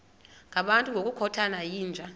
ngabantu ngokukhothana yinja